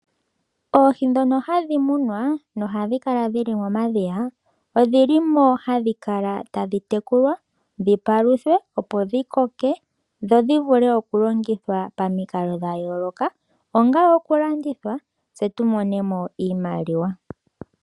Oohi dhono hadhi munwa nohadhi kala dhili momadhiya, odhili mo hadhi kala tadhi tekulwa, dhin paluthwe opo dhi koke. Dho dhi vule okulongithwa pamikalo dha yooloka onga okulandithwa tse tu monemo iimaliwa.